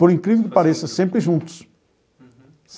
Por incrível que pareça, sempre juntos.